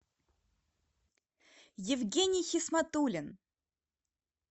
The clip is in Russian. евгений хисматуллин